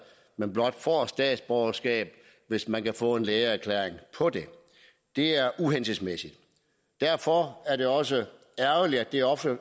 men blot får statsborgerskab hvis man kan få en lægeerklæring på det det er uhensigtsmæssigt derfor er det også ærgerligt at det ofte